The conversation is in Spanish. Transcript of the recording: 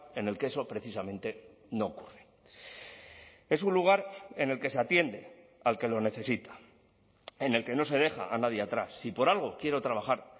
en el que eso precisamente no ocurre es un lugar en el que se atiende al que lo necesita en el que no se deja a nadie atrás si por algo quiero trabajar